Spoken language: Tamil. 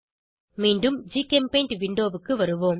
மீண்டும் ஜிகெம்பெய்ண்ட் விண்டோவுக்கு வருவோம்